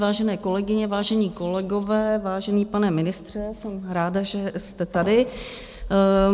Vážené kolegyně, vážení kolegové, vážený pane ministře, jsem ráda, že jste tady.